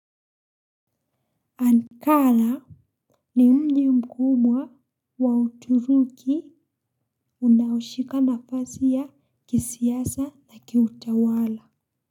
Ankara ni mji mkubwa wa uturuki unaoshika nafasi a kisiasa na kiutawala.